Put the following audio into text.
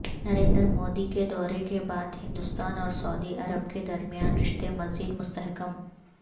نریندر مودی کے دورے کے بعد ہندوستان اور سعودی عرب کے درمیان رشتے مزید مستحکم